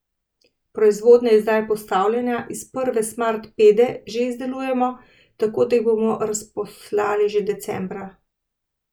Proizvodnja je zdaj postavljena in prve Smart Pede že izdelujemo, tako da jih bomo razposlali že decembra.